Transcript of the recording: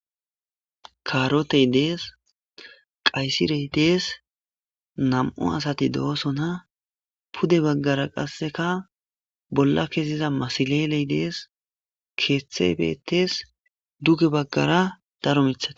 Kaarotey dees qaysirey dees nam7o asati do7osona pude baggara qasseka bolla keziza masileley dees keeththe bettes duge baggara daro mitha.